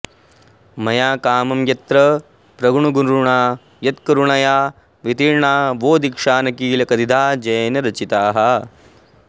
मया कामं यत्र प्रगुणगुरुणा यत्करुणया वितीर्णा वो दीक्षा न किल कतिधा जैनरचिताः